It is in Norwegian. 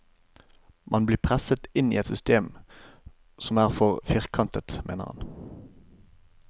Man blir presset inn i et system som er for firkantet, mener han.